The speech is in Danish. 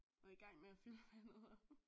Og igang med at fylde vandet